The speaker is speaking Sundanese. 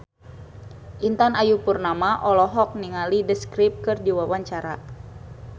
Intan Ayu Purnama olohok ningali The Script keur diwawancara